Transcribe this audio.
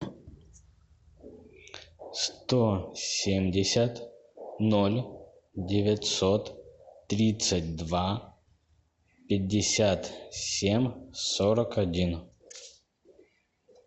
сто семьдесят ноль девятьсот тридцать два пятьдесят семь сорок один